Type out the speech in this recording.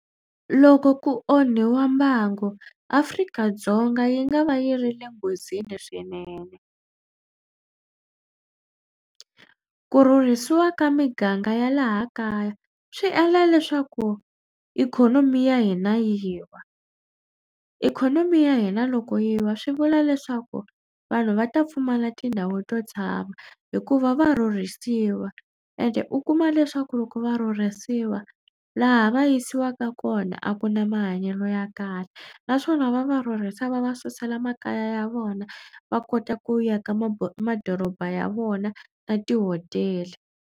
Loko ku onhiwa mbangu Afrika-Dzonga yi nga va yi ri le nghozini swinene. Ku rhurhisiwa ka miganga ya laha kaya swi endla leswaku ikhonomi ya hina yi wa. Ikhonomi ya hina loko yi wa swi vula leswaku vanhu va ta pfumala tindhawu to tshama hikuva va rhurhisiwa ende u kuma leswaku loko va rhurhisiwa laha va yisiwaka kona a ku na mahanyelo ya kahle naswona va va rhurhisa va va susa la makaya ya vona va kota ku aka ma madoroba ya vona na tihotela.